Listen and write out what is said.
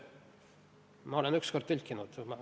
Ma olen üks kord tõlkinud.